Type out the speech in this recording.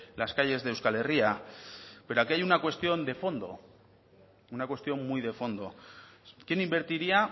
las calles de euskal herria pero aquí hay una cuestión de fondo una cuestión muy de fondo quién invertiría